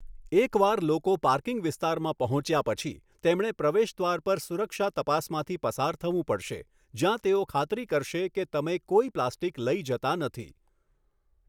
એક વાર લોકો પાર્કિંગ વિસ્તારમાં પહોંચ્યા પછી, તેમણે પ્રવેશદ્વાર પર સુરક્ષા તપાસમાંથી પસાર થવું પડશે જ્યાં તેઓ ખાતરી કરશે કે તમે કોઈ પ્લાસ્ટિક લઈ જતા નથી.